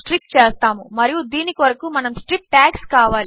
strip tags